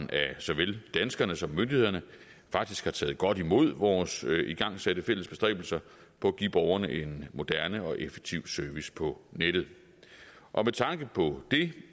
såvel danskere som myndigheder faktisk har taget godt imod vores igangsatte fælles bestræbelser på at give borgerne en moderne og effektiv service på nettet og med tanke på det